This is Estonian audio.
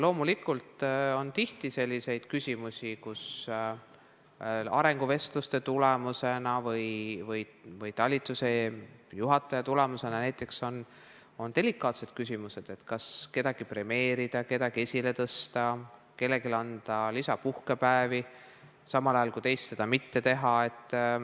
Loomulikult tuleb tihti ette selliseid olukordi, kus arenguvestlustega seoses käsitleb talituse juhataja näiteks selliseid delikaatseid küsimusi, nagu keda premeerida, keda esile tõsta, kellele anda lisapuhkepäevi, samas kui mõne teise puhul seda mitte teha.